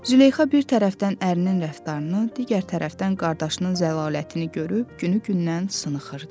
Züleyxa bir tərəfdən ərinin rəftarını, digər tərəfdən qardaşının zəlalətini görüb günü-gündən sınıxırdı.